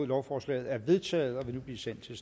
lovforslaget er vedtaget og vil nu blive sendt til